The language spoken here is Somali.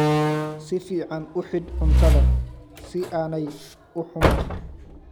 Si fiican u xidh cuntada si aanay u xumaan.